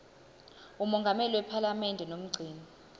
mongameli wephalamende nomgcini